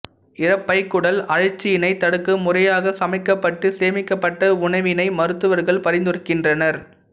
இரைப்பைக் குடல் அழற்சியினைத் தடுக்க முறையாகச் சமைக்கப்பட்டு சேமிக்கப்பட்ட உணவினையை மருத்துவர்கள் பரிந்துரைக்கின்றனர்